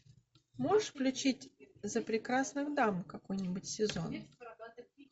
можешь включить за прекрасных дам какой нибудь сезон